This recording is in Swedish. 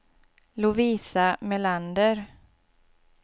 Lovisa Melander